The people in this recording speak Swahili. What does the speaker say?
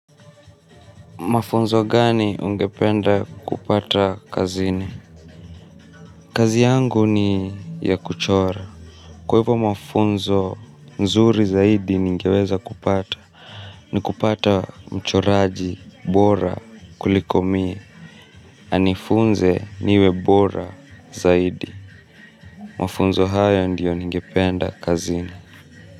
Mafunzo gani ungependa kupata kazini? Kazi yangu ni ya kuchora. Kwa hivyo mafunzo mzuri zaidi ningeweza kupata. Ni kupata mchoraji, bora, kuliko mie. Anifunze niwe bora zaidi. Mafunzo haya ndio ningependa kazini.